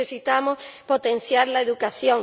y necesitamos potenciar la educación.